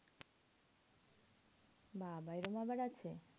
বাবা এরম আবার আছে?